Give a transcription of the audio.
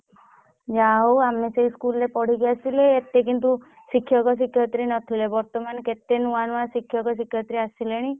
ଯାହା ହଉ ଆମେ ସେଇ ସ୍କୁଲ ରେ ବଡିକି ଆସିଲେ ଏତେ କିନ୍ତୁ ଶିକ୍ଷକ ଶିକ୍ଷୟିତ୍ରୀ ନଥିଲେ ବର୍ତମାନ କେତେ ଶିକ୍ଷକ ଶିକ୍ଷୟିତ୍ରୀ ଆସିଲେଣି।